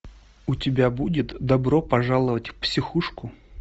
у тебя будет добро пожаловать в психушку